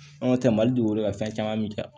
Anw tɛ mali dugukolo ka fɛn caman bɛ ja